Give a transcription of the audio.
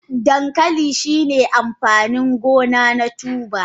Dankali shine amfanin gona na tuber.